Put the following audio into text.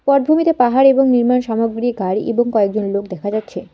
পটভূমিতে পাহাড় এবং নির্মাণ সামগ্রী গাড়ি এবং কয়েকজন লোক দেখা যাচ্ছে।